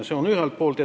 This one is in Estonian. Seda ühelt poolt.